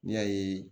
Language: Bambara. N'i y'a ye